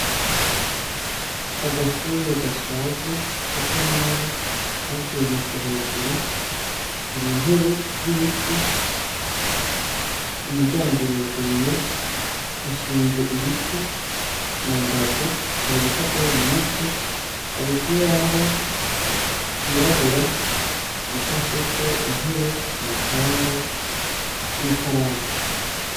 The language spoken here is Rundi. agashure gashaje gasa nabi kasenyutse hejuru hari intebe z'ibiti umuryango uruguruye hashinze ibiti mu mbavu hari ibipapuro bimanitse hari ikibaho cirabura gishafyeko intebe umupanga n'ikaramu